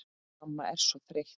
Mamma er svo þreytt.